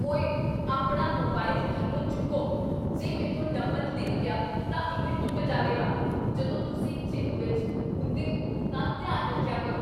ਓਏ ਆਪਣਾ ਮੋਬਾਈਲ ਥਲਵੋਂ ਚੁੱਕੋ, ਜੇ ਮੈਂਥੋਂ ਡੰਬਲ ਡਿੱਗ ਗਿਆ ਤਾਂ ਇਹ ਟੁੱਟ ਜਾਵੇਗਾ, ਜਦੋਂ ਤੁਸੀਂ ਜਿਮ ਵਿੱਚ ਹੁੰਦੇ ਹੋ ਤਾਂ ਧਿਆਨ ਰੱਖਿਆ ਕਰੋ।